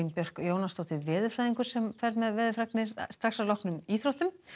Björk Jónasdóttir veðurfræðingur fer með veðurfregnir að loknum íþróttum